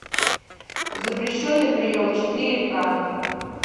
запрещенный прием четыре к